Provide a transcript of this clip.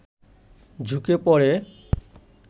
ঝুঁকে পড়ে